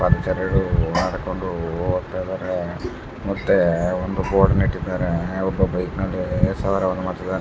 ಮತ್ತೆರಡು ನಡ್ಕೊಂಡು ಓಡ್ತಾ ಇದ್ದಾರೆ ಮತ್ತೆ ಒಂದು ಬೋರ್ಡ್ ನೆಟ್ಟಿದರೆ ಒಬ್ಬ ಬೈಕ್ ನಲ್ಲಿ ಮಾಡ್ತಿದ್ದಾನೆ .